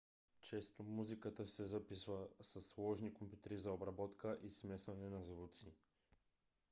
често музиката се записва със сложни компютри за обработка и смесване на звуци